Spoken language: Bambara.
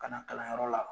Ka na kalanyɔrɔ la